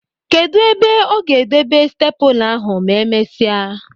Kedụ ebe ọ ga-edebe steepụla ahụ ma e mesịa?